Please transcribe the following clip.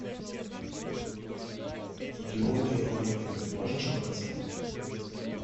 идиоты и ангелы можешь показать